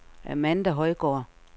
Amanda Højgaard